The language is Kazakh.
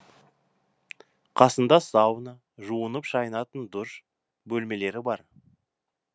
қасында сауна жуынып шайынатын душ бөлмелері бар